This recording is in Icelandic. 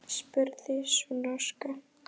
spurði sú norska.